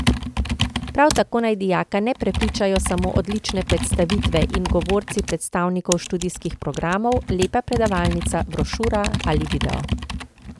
Prav tako naj dijaka ne prepričajo samo odlične predstavitve in govorci predstavnikov študijskih programov, lepa predavalnica, brošura ali video.